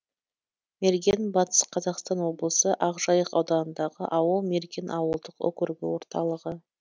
мерген батыс қазақстан облысы ақжайық ауданындағы ауыл мерген ауылдық округі орталығы